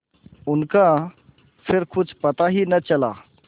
उनका फिर कुछ पता ही न चला